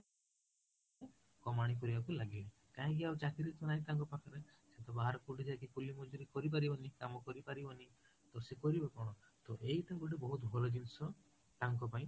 କରିବା କୁ ଲାଗିଲେ, କାହିଁକି ଚାକିରୀ ତ ନାହିଁ ତାଙ୍କ ପାଖରେ ଯେହେତୁ ବାହାରକୁ କୋଉଠି ଯାଇକି କରି ପାରିବନି କାମ କରି ପାରିବନି ତ ସେ କରିବ କଣ ତ ଏଇଠୁ ଗୋଟେ ବହୁଇଟ ଭଲ ଜିନିଷ ତାଙ୍କ ପାଇଁ